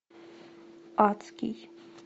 адский